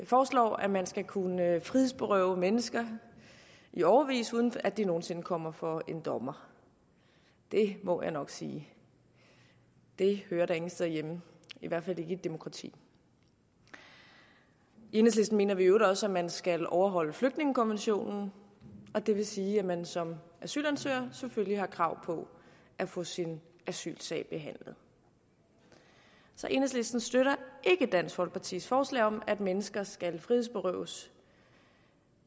foreslår at man skal kunne frihedsberøve mennesker i årevis uden at de nogen sinde kommer for en dommer det må jeg nok sige det hører da ingen steder hjemme i hvert fald ikke i et demokrati i enhedslisten mener vi i øvrigt også at man skal overholde flygtningekonventionen det vil sige at man som asylansøger selvfølgelig har krav på at få sin asylsag behandlet så enhedslisten støtter ikke dansk folkepartis forslag om at mennesker skal frihedsberøves